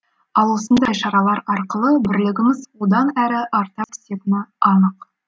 ал осындай шаралар арқылы бірлігіміз одан әрі арта түсетіні анық